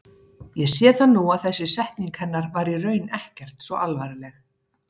Ég sé það nú að þessi setning hennar var í raun ekkert svo alvarleg.